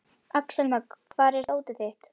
Axelma, hvar er dótið mitt?